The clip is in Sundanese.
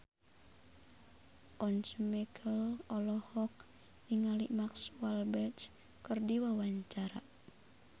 Once Mekel olohok ningali Mark Walberg keur diwawancara